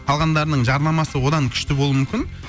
қалғандарының жарнамасы одан күшті болуы мүмкін